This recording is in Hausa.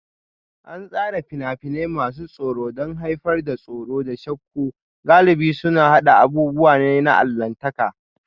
An tsara fina-finai masu ban tsoro don haifar da tsoro da shakku, galibi suna haɗa abubuwa na allahntaka